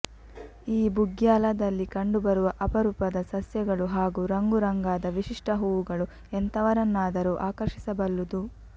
ಈ ಬುಗ್ಯಾಲದಲ್ಲಿ ಕಂಡುಬರುವ ಅಪರುಪದ ಸಸ್ಯಗಳು ಹಾಗೂ ರಂಗು ರಂಗಾದ ವಿಶಿಷ್ಟ ಹೂವುಗಳು ಎಂಥವರನ್ನಾದರೂ ಆಕರ್ಷಿಸಬಲ್ಲುದು